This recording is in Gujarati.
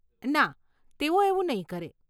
ના, તેઓ એવું નહીં કરે.